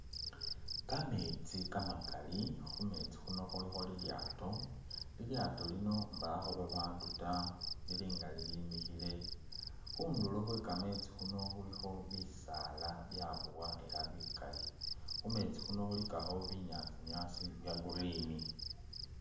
Kameetsi kamakali khu meetsi khuno khulikho lilyaato, lilyaato lino mbakho babaandu ta lili nga lilimikhile. Khundulo khwe kameetsi khwe kameetsi khuno khulikho bisaala byaboa ela bikaali. Khu meetsi khuno khulikakho binyaasi nyaasi bya Green.